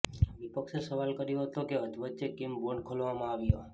વિપક્ષે સવાલ કર્યો હતો કે અધવચ્ચે કેમ બોન્ડ ખોલવામાં આવ્યા